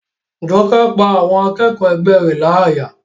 Jọkẹ́ pá àwọn akẹ́kọ̀ọ́ ẹgbẹ́ rẹ̀ láyà